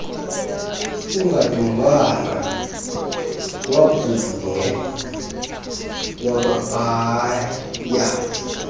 ungodongwana wabhungea wabhaea